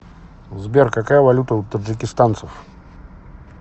сбер какая валюта у таджикистанцев